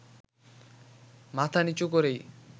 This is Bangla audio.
মাথা নিচু করেই